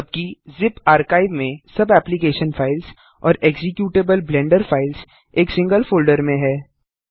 जबकि zip archive में सब एप्लिकेशन फाइल्स और एक्जीक्यूटेबल ब्लेंडर फाइल्स एक सिंगल फोल्डर में हैं